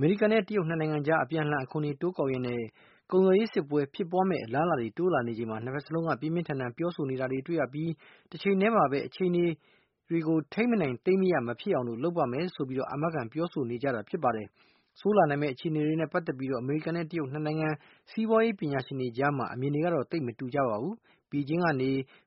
မေရိကန်နဲ့ တရုတ် ၂ နိုင်ငံကြား အပြန်အလှန် အခွန်တွေတိုးကောက်ရင်း ကုန်သွယ်ရေးစစ်ပွဲဖြစ်ပွါးမယ့် အလားအလာတွေ တိုးလာနေချိန်မှာ ၂ ဖက်စလုံးက ပြင်းပြင်းထန်ထန် ပြောဆိုနေတာတွေ့ရပြီး တချိန်ထဲမှာပဲ အခြေနေတွေ ထိန်းမနိုင်သိမ်းမရ ဖြစ်မသွားအောင် လုပ်ပါမယ်လို့ လည်း အာမခံပြောဆိုနေကြတာ ဖြစ်ပါတယ်။ ဆိုးလာနိုင်မယ့် အခြေနေတွေနဲ့ ပတ်သက်ပြီး အမေရိကန်နဲ့ တရုတ် ၂ နိုင်ငံ စီးပွါးရေးပညာရှင်တွေကြားမှာတော့ အမြင်တွေကသိပ်မတူကြပါဘူး။ ဘေဂျင်းက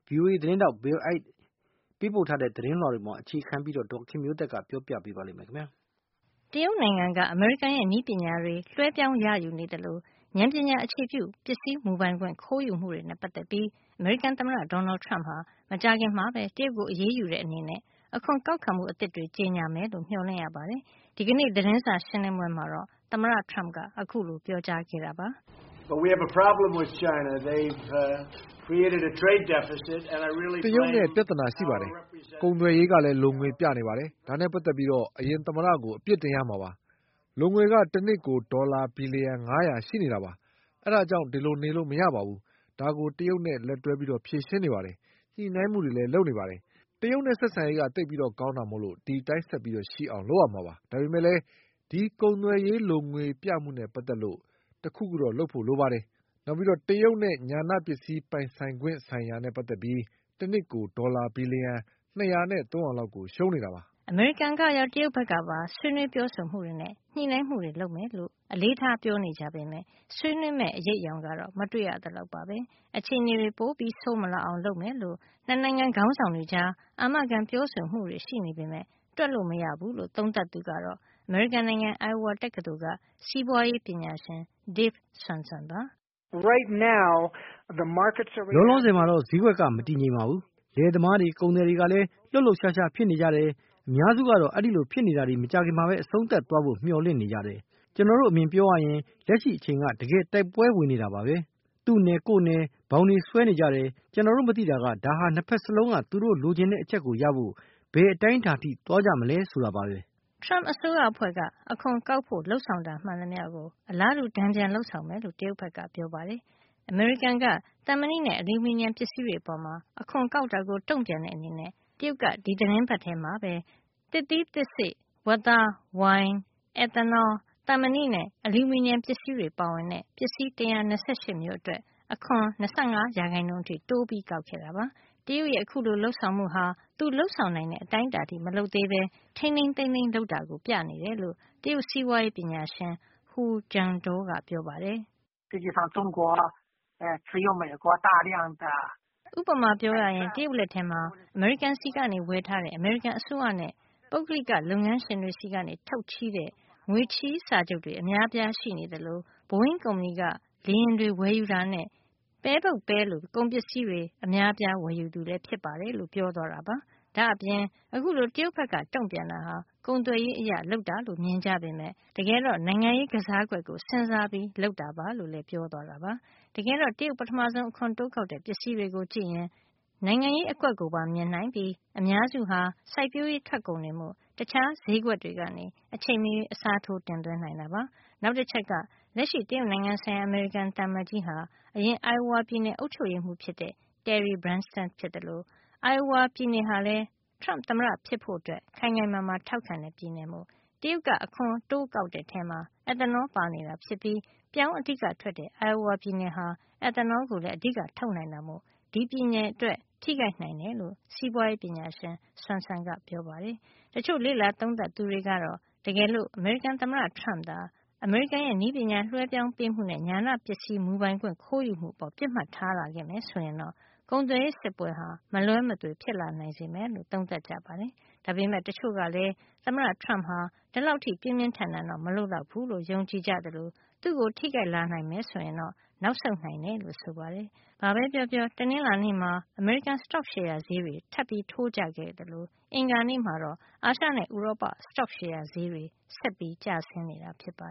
VOA သတင်းထောက် Bill Ide ရဲ့ သတင်းလွှာပေါ် အခြေခံပြီး ဒေါ်ခင်မျိုးသက်က ပြောပြပေးမှာပါ။ တရုတ်နိုင်ငံက အမေရိကန်ရဲ့နည်းပညာတွေ လွှဲပြောင်းရယူနေသလို ဉာဏ်ပညာအခြေပြု ပစ္စည်းမူပိုင်ခွင့် ခိုးယူမှုတွေနဲ့ ပတ်သက်ပြီး အမေရိကန်သမ္မတ Donald Trump ဟာ မကြာခင်မှာပဲ တရုတ်ကို အရေးယူတဲ့အနေနဲ့ အခွန်ကောက်ခံမှု အသစ်တွေ ကြေညာမယ်လို့ မျှော်လင့်ရပါတယ်။ ဒီကနေ့ သတင်းစာရှင်းလင်းပွဲမှာတော့ သမ္မတ Trump က အခုလိုပြောကြားခဲ့တာပါ။ " တရုတ်နဲ့ ပြဿနာရှိပါတယ်။ ကုန်သွယ်ရေးက လိုငွေပြနေပါတယ်။ ဒါနဲ့ ပတ်သက်ပြီး အရင်သမ္မတကို အပြစ်တင်ရမှာပါ။ လိုငွေက တနှစ်ကို ဒေါ်လာ ဘီလျံ ၅၀၀ ရှိနေပါတယ်။ ဒါ့ကြောင့် ဒီလိုနေလို့ မရပါဘူး။ ဒါကို တရုတ်နဲ့ လက်တွဲ ဖြေရှင်းနေပါတယ်။ ညှိနှိုင်းမှုတွေလည်း လုပ်နေပါတယ်။ တရုတ်နဲ့ ဆက်ဆံရေးက သိပ်ကောင်းတာမို့ ဒီအတိုင်းဆက်ပြီး ရှိအောင်လုပ်ရမှာပါ။ ဒါပေမယ့် ဒီကုန်သွယ်ရေး လိုငွေပြမှုနဲ့ ပတ်သက်ပြီး တခုခု တော့ လုပ်ရမှာပါ။ ဒါ့အပြင် တရုတ်နဲ့ ဉာဏပစ္စည်းမူပိုင်ခွင့် ဆိုင်ရာနဲ့ ပတ်သက်ပြီး တနှစ်ကို ဒေါ်လာ ဘီလျံ ၂၀၀ နဲ့ ၃၀၀ လောက် ကို ရှုံးနေတာပါ။" အမေရိကန်ကရော တရုတ်ဘက်ကပါ ဆွေးနွေးပြောဆိုမှုတွေနဲ့ ညှိနှိုင်းမှုတွေလုပ်မယ်လို့ အလေးထား ပြောနေကြပေမယ့် ဆွေးနွေးမယ့် အရိပ်အယောင်ကတော့ မတွေ့ရသလောက်ပါပဲ။ အခြေနေတွေ ပိုဆိုးမလာအောင် လုပ်မယ်လို့ ၂ နိုင်ငံခေါင်းဆောင်တွေကြား အာမခံပြောဆိုမှုတွေရှိနေပေမယ့် တွက်လို့မရဘူးလို့ သုံးသပ်သူကတော့ အမေရိကန်နိုင်ငံ Iowa တက္ကသိုလ်က စီးပွါးရေးပညာရှင် Dave Swenson ပါ။ “လောလောဆယ်မှာတော့ ဈေးကွက်က မတည်ငြိမ်ဘူး။ လယ်သမားတွေ၊ ကုန်သည်တွေလည်း လှုပ်လှုပ်ရှားရှား ဖြစ်နေကြတယ်။ အများစုကတော့ ဒီလိုဖြစ်နေတာတွေ မကြာခင်မှာပဲ အဆုံးသတ်သွားဖို့ မျှော်လင့်နေကြတယ်။ ကျွန်တော်တို့ အမြင်ပြောရရင် လက်ရှိအချိန်က တကယ်တိုက်ပွဲဝင်နေတာပဲ၊ သူ့နယ်ကိုယ့်နယ် ဘောင်တွေ ဆွဲနေကြတယ်။ ကျွန်တော်တို့ မသိတာက - ဒါဟာ ၂ ဖက်စလုံးက သူတို့ လိုချင်တဲ့ အချက်ကိုရဖို့ ဘယ်အတိုင်းတာထိ သွားကြမလဲ ဆိုတာပါပဲ” Trump အစိုးရအဖွဲ့က အခွန်ကောက်ဖို့ လုပ်ဆောင်တာမှန်သမျှကို အလားတူတန်ပြန်လုပ်ဆောင်မယ်လို့ တရုတ်ဘက်က ပြောပါတယ်။ အမေရိကန်က သံမဏိနဲ့ အလျူမီနီယံ ပစ္စည်းတွေအပေါ် အခွန်ကောက်တာကိုတုံ့ပြန်တဲ့အနေနဲ့ တရုတ်က ဒီသီတင်းပတ်ထဲမှာပဲ သစ်သီးသစ်စေ့၊ ဝက်သား၊ ဝိုင်၊ သံမဏိနဲ့ အလျူမီနီယံပစ္စည်းတွေပါဝင်တဲ့ ပစ္စည်း ၁၂၈ မျိုးအတွက် အခွန်း ၂၅ % အထိ တိုးကောက်ခဲ့တာ ပါ။ တရုတ်ရဲ့ အခုလို လုပ်ဆောင်မှုဟာ သူလုပ်ဆောင်နိုင်တဲ့ အတိုင်းတာအထိမလုပ်သေးပဲ ထိန်းထိန်းသိမ်းသိမ်းလုပ်တာကို ပြနေတယ်လို့ တရုတ်စီးပွါးရေး ပညာရှင် Hu Xingdou ကပြောပါတယ်။ " ဥပမာ ပြောရရင် တရုတ်လက်ထဲမှာ အမေရိကန်ဆီကနေ ဝယ်ထားတဲ့ အမေရိကန်အစိုးရနဲ့ ပုဂ္ဂလိက လုပ်ငန်းရှင်တွေဆီက ထုတ်ချေးတဲ့ ငွေချေးစာချုပ်တွေ အများအပြားရှိနေသလို Boeing ကုမ္ပဏီက လေယာဉ်တွေဝယ်ယူတာနဲ့၊ ပဲပုပ်ပဲလို ကုန်ပစ္စည်းတွေ အများအပြားဝယ်သူလည်း ဖြစ်ပါတယ်။ - လို့ပြောသွားတာပါ။ ဒါ့အပြင် အခုလို တရုတ်က တုံ့ပြန်တာဟာ ကုန်သွယ်ရေးအရ လုပ်တာလို့ မြင်ကြပေမယ့် ကျွန်တော်ထင်တာက နိုင်ငံရေး သတင်းစကား ပါးချင်တာ ဖြစ်နိုင်ပါတယ်။ တကယ်တော့ နိုင်ငံရေးကစားကွက်ကို စဉ်းစားပြီး လုပ်တာပါ” - လို့လည်း ပြောပါတယ်။ တကယ်တော့ တရုတ် ပထမဆုံး အခွန်တိုးကောက်တဲ့ပစ္စည်းတွေကို ကြည့်ရင် နိုင်ငံရေးအကွက်ကိုပါ မြင်နိုင်ပြီး အများစုဟာ စိုက်ပျိုးရေးထွက်ကုန်တွေမို့ တခြားဈေးကွက်တွေကနေ အချိန်မရွေး အစားထိုးတင်သွင်းနိုင်တာပါ။ နောက်တချက်က လက်ရှိ တရုတ်နိုင်ငံဆိုင်ရာ အမေရိကန်သံအမတ်ကြီးဟာ အရင် Iowa ပြည်နယ်အုပ်ချုုပ်ရေးမှုးဖြစ်ခဲ့တဲ့ Terry Branstad ဖြစ်သလို Iowa ပြည်နယ်ဟာလည်း Trump သမ္မတဖြစ်ဖို့ ခိုင်ခိုင်မာမာ ထောက်ခံတဲ့ ပြည်နယ်မို့ ဒီပြည်နယ်ကို ထိခိုက်အောင် အဓိက ပစ်မှတ်ထား တိုက်ခိုက်တာကို တွေ့ရပါတယ်။ တရုတ်က အခွန်တိုးကောက်တဲ့ ထဲမှာ ethanol ပါနေတာ ဖြစ်ပြီး ပြောင်းအဓိကထွက်တဲ့ Iowa ပြည်နယ်ဟာ ethanol ကိုလည်း အဓိကထုတ်နိုင်တာမို့ ဒီပြည်နယ်အတွက် ထိခိုက်နိုင်တယ်လို့ စီးပွါးရေးပညာရှင် Swenson ကလည်း ပြောပါတယ်။ တချို့ လေ့လာသုံးသပ်သူတွေကတော့ တကယ်လို့ အမေရိကန် သမ္မတ Trump ကသာ အမေရိကန်ရဲ့ နည်းပညာလွှဲပြောင်းပေးမှုနဲ့ ဉာဏပစ္စည်းမူပိုင်ခွင့် ခိုးယူမှု အပေါ်ပစ်မှတ်ထားလာမယ့် ဆိုရင်တော့ ကုန်သွယ်ရေးစစ်ပွဲဟာ မလွဲမသွေ ဖြစ်လာစေနိုင်မယ်လို့ သုံးသပ်ကြပါတယ်။ ဒါပေမယ့် တချို့ကလည်း သမ္မတ Trump ဟာ ဒီလောက်အထိတော့ ပြင်းပြင်းထန်ထန်မလုပ်လောက်ဖူးလို့ ယုံကြည်ကြသလို သူ့ကို ထိခိုက်လာနိုင်မယ်ဆိုရင် နောက်ဆုတ်နိုင်တယ်လို့ ဆိုပါတယ်။ ဘာပဲပြောပြော တနင်္လာနေ့မှာ အမေရိကန် စတော့ရှယ်ယာဈေးတွေ ထပ်ပြီးထိုးကျခဲ့သလို အင်္ဂါနေ့မှာတော့ အာရှနဲ့ ဥရောပ စတော့ရှယ်ယာ ဈေးကွက်တွေဟာ ဆက်ပြီးကျဆင်းနေတာပါ